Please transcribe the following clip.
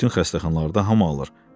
Bütün xəstəxanalarda hamı alır.